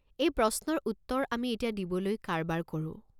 এই প্ৰশ্নৰ উত্তৰ আমি এতিয়া দিবলৈ কাৰবাৰ কৰোঁ।